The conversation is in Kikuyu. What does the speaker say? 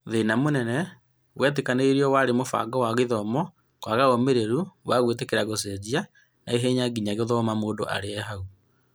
Thĩna mũnene wetĩkĩranĩirio warĩ mũbango wa gĩthomo kwaga ũmĩrĩru wa gũĩtiria gũcenjia naihenya nginya gũthoma mũndũ e harĩa arĩ.